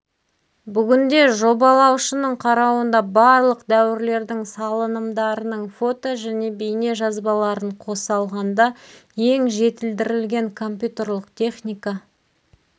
бүгінде жобалаушының қарауында барлық дәуірлердің салынымдарының фото және бейне жазбаларын қоса алғанда ең жетілдірілген компьютерлік техника